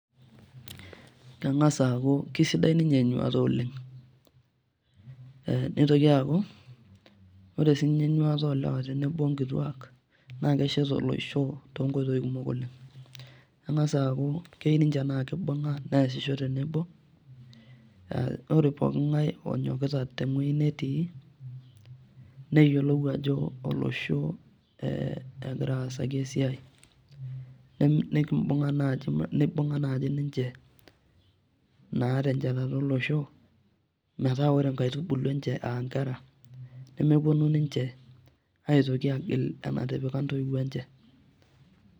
Keng'as aaku kisidai ninye enyuata oleng eh nitoki aaku ore sinye nitoki aaku sinye enyuata olewa tenebo onkituak naa keshet olosho tonkoitoi kumok oleng keng'as aaku kei ninche naa kibung'a neasisho tenebo ore poking'ae onyokita teng'ueji netii neyiolou ajo eh olosho eh egira aasaki esiai nekimbung'a naaji ninche na tenchatata olosho metaa ore inkaitubulu enche aa inkera nemeponu ninche aitoki agil enatipika intoiwuo enche.